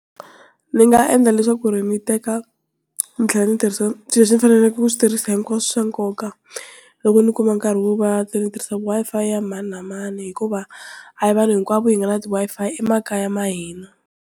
Ni nga endla leswaku ni teka ni tlhela ni Swi leswi ni faneleke ku switirhisiwa hinkwaswo i swa nkoka loko ni kuma nkarhi ni tirhisa i-Fi ya mani na mani hikuva a hi vanhu hinkwavo hi nga na ti Wi-Fi emakaya ya hina.